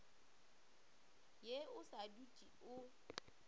ye o sa dutse o